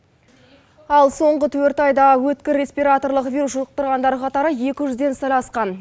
ал соңғы төрт айда өткір респираторлық вирус жұқтырғандар қатары екі жүзден сәл асқан